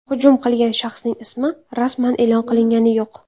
Hujum qilgan shaxsning ismi rasman e’lon qilingani yo‘q.